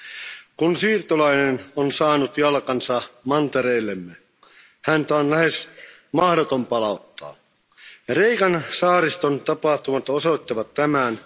Arvoisa puhemies, kun siirtolainen on saanut jalkansa mantereellemme, häntä on lähes mahdotonta palauttaa. Kreikan saariston tapahtumat osoittavat tämän.